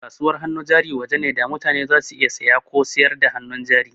Kasuwar hannu jari waje ne da mutane za su iya saya ko sayar da hannun jari